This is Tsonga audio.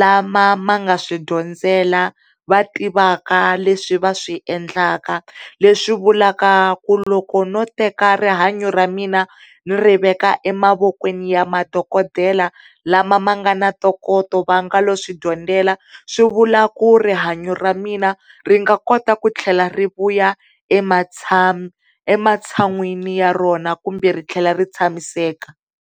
lama ma nga swi dyondzela va tivaka leswi va swiendlaka leswi vulavula ku loko no teka rihanyo ramina ni ri veka emavokweni ya madokodela la ma nga na ntokoto va nga lo swidyondzela swivula ku ri rihanyo ramina ri nga kota ku tlhela rivuya ematsan'weni ya rona kumbe ri tlhela ri tshamiseka.